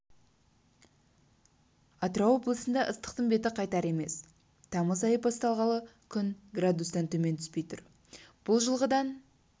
атырау облысында ыстықтың беті қайтар емес тамыз айы басталғалы күн градустан төмен түспей тұр бұл жылдағыдан